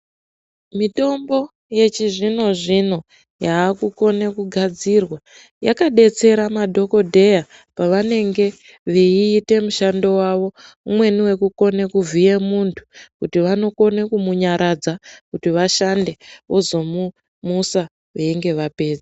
Mitombo yechizvino-zvino yaakukone kugadzirwa ,yakadetsera madhokodheya, pavanenge veiite mishando wavo, umweni wekukone kuvhiye muntu ,kuti vanokone kumunyaradza kuti vashande, vozomumusa veinge vapedza.